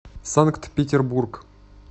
санкт петербург